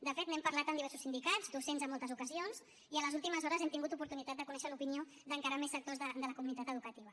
de fet n’hem parlat amb diversos sindicats docents en moltes ocasions i a les últimes hores hem tingut oportunitat de conèixer l’opinió d’encara més sectors de la comunitat educativa